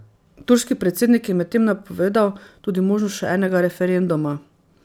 Turški predsednik je medtem napovedal tudi možnost še enega referenduma.